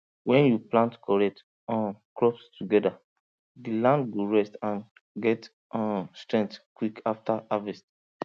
when you plant correct um crops together the land go rest and get um strength quick after harvest